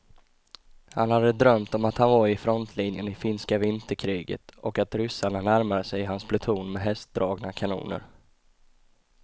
Han hade drömt om att han var i frontlinjen i finska vinterkriget och att ryssarna närmade sig hans pluton med hästdragna kanoner.